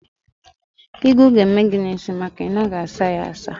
Ịgụ ga-eme gị n'isi maka na ị naghị asa ya asa.